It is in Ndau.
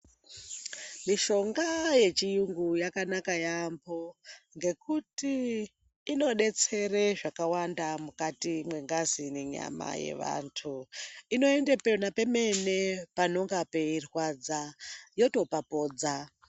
Mishonga yechiyungu yakanaka yambo ngekuti inodetsere zvakawanda mukati mwengazi nenyama yeantu inonde pemene panonga peirwadza yotopapodza.